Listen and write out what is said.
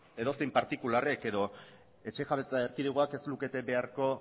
edozein partikularrek edo etxe jabetza erkidegoak ez lukete beharko